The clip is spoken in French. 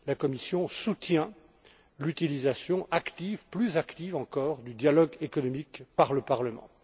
La Commission soutient l'utilisation active, plus active encore, du dialogue économique par le Parlement.